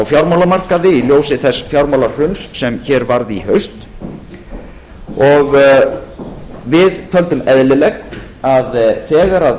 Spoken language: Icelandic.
fjármálamarkaði í ljósi þess fjármálahrun sem hér varð í haust við töldum eðlilegt að þegar